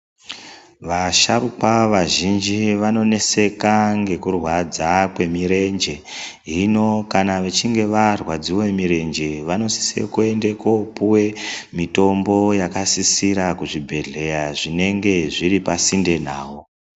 Vasharukwa vazhinji vanoneseka ngekurwadza kwemirenje, hino kana vechinge varwadziwe mirenje vanosise kuende kopiwe mitombo yakasisira kuzvibhedhlera zvinenge zviripasinde navo.